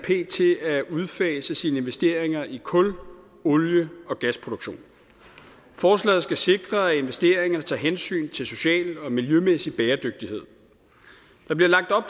at udfase sine investeringer i kul olie og gasproduktion forslaget skal sikre at investeringerne tager hensyn til social og miljømæssig bæredygtighed der bliver lagt op